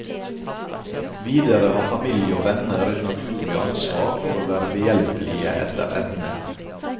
Videre har familie og venner et naturlig ansvar for å være behjelpelige etter evne.